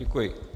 Děkuji.